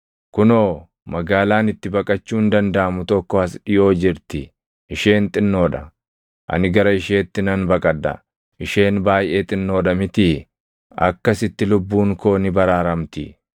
Kunoo, magaalaan itti baqachuun dandaʼamu tokko as dhiʼoo jirti; isheen xinnoo dha. Ani gara isheetti nan baqadha; isheen baayʼee xinnoo dha mitii? Akkasitti lubbuun koo ni baraaramti.”